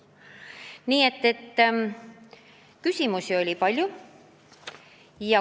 Nii et küsimusi oli palju.